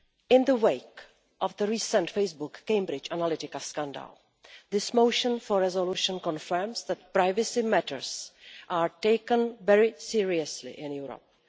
In the wake of the recent Facebook Cambridge Analytica scandal, this motion for a resolution confirms that privacy matters are taken very seriously in Europe.